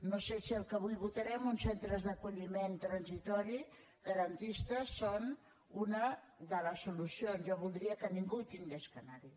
no sé si el que avui votarem uns centres d’acolliment transitori garantistes és una de les solucions jo voldria que ningú hagués d’anar hi